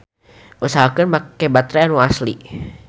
Usahakeun make batre anu asli.